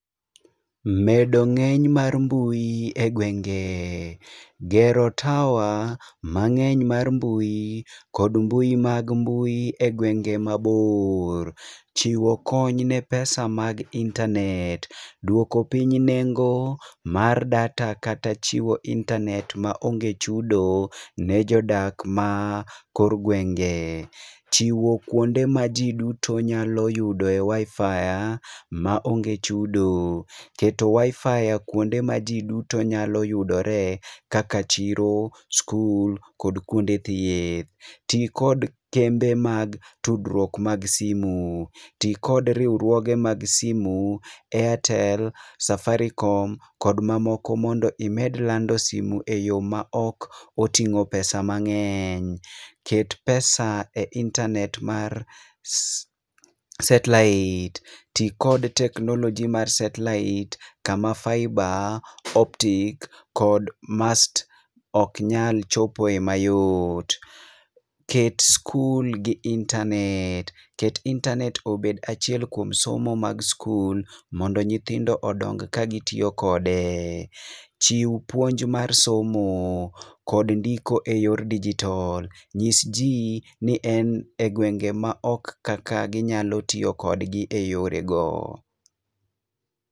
Medo ng'eny mar mbui e gwenge. Gero tower mang'eny mar mbui, kod mbui mag mbui e gwenge mabor. Chiwo kony ne pesa mag [csinternet. Duoko piny nengo mar data kata chiwo internet ma onge chudo ne jodak ma kor gwenge. Chiwo kuonde ma ji duto nyalo yudo e WIFI ma onge chudo. Keto WIFI kuonde ma ji duto nyalo yudore kaka chiro, skul kod kuonde thieth. Tii kod kembe mag tudruok mag simu. Tii kod riwruoge mag simu airtel, safaricom kod mamoko mondo imed lando simu e yo ma ok oting'o pesa mang'eny. Ket pesa e internet mar satellite. Ti kod teknoloji mar satellite kama fiber optics kod MAST oknyal chopo e mayot. Ket skul gi internet. Ket internet obed achiel kuom somo mag skul mondo nyithindo odong ka gitiyo kode. Chiw puonj mar somo kod ndiko e yor digital. Nyis ji ni en e gwenge ma ok kaka ginyalo tiyo kodgi e yore go.